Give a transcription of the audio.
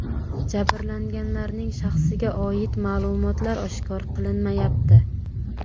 Jabrlanganlarning shaxsiga oid ma’lumotlar oshkor qilinmayapti.